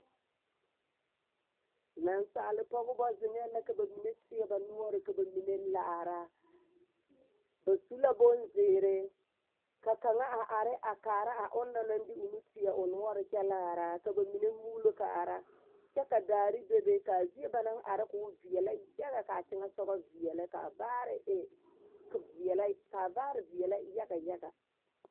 Nansaalpɔgbɔ zeŋɛɛ la ka ba mine teɛ ba noɔre ka ba mine laara ba su la bonzeerii ka kaŋa a are a kaara a onoŋ naŋ de o nu teɛ a o noɔre kyɛ laara ka ba mine muulo kaara kyɛ ka daare bebe kaa zie ba naŋ are koo veɛlɛ yaga kaa teŋesogɔ veɛlɛ kaa vaare e veɛlɛ kaa vaare veɛlɛ yaga yaga.